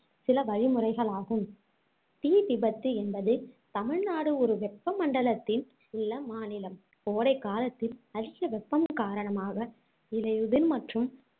சில வழிமுறைகள் ஆகும் தீ விபத்து என்பது தமிழ்நாடு ஒரு வெப்ப மண்டலத்தில் உள்ள மாநிலம் கோடைக்காலத்தில் அதிக வெப்பம் காரணமாக இலையுதிர் மற்றும்